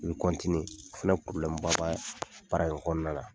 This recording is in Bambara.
I bɛ o fana ba bɛ baara in kɔnɔna na